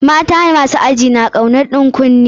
Mata masu aji na kaunar ɗan kunne.